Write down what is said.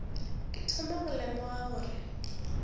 ke thoma go lemoga gore